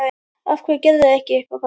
Af hverju gerirðu ekki eitthvað, pabbi?